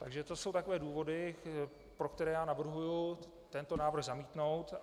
Takže to jsou takové důvody, pro které já navrhuji tento návrh zamítnout.